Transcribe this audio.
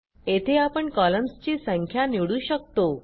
येथे आपण कॉलम्सची संख्या निवडू शकतो